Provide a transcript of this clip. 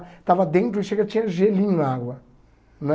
Estava dentro e chega e tinha gelinho na água, né?